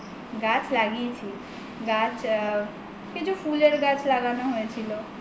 গাছ লাগিয়েছি গাছ আ কিছু ফুলের গাছ লাগানো হয়েছিল